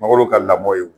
Mangoro ka lamɔ ye